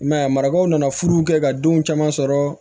I m'a ye a marakaw nana furu kɛ ka denw caman sɔrɔ